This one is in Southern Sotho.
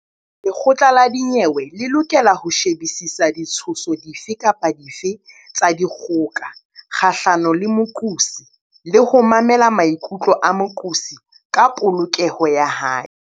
Lekgotla la dinyewe le lokela ho shebisisa ditshoso dife kapa dife tsa dikgoka kgahlano le moqosi le ho mamela maikutlo a moqosi ka polokeho ya hae.